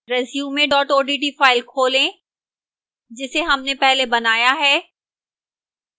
resume odt file खोलें जिसे हमने पहले बनाया है